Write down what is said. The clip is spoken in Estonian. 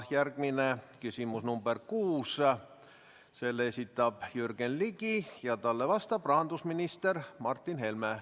Järgmine küsimus number 6, selle esitab Jürgen Ligi ja talle vastab rahandusminister Martin Helme.